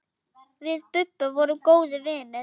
Við Bubba vorum góðir vinir.